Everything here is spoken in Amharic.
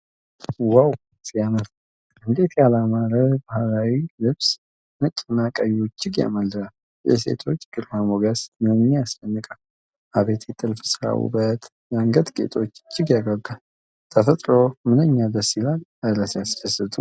ዋው ሲያምር! እንዴት ያለ ያማረ ባህላዊ ልብስ! ነጭና ቀዩ እጅግ ያማልላል። የሴቶቹ ግርማ ሞገስ ምንኛ ያስደንቃል! አቤት የጥልፍ ሥራው ውበት! የአንገት ጌጦቹ እጅግ ያጓጓሉ። ተፈጥሮው ምንኛ ደስ ይላል! እረ ሲያስደስት!